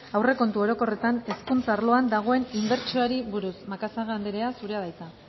aurrekontu orokorretan hezkuntza arloan dagoen inbertsioari buruz macazaga anderea zurea da hitza